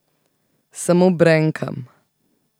Samo brenkam.